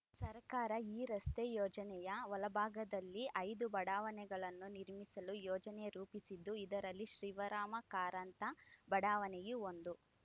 ಸರಕಾರ ಈ ರಸ್ತೆ ಯೋಜನೆಯ ಒಳಭಾಗದಲ್ಲಿ ಐದು ಬಡಾವಣೆಗಳನ್ನು ನಿರ್ಮಿಸಲು ಯೋಜನೆ ರೂಪಿಸಿದ್ದು ಇದರಲ್ಲಿ ಶಿವರಾಮ ಕಾರಂತ ಬಡಾವಣೆಯೂ ಒಂದು